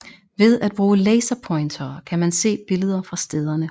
Ved at bruge laserpointere kan man se billeder fra stederne